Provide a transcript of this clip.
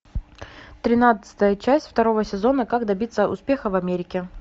тринадцатая часть второго сезона как добиться успеха в америке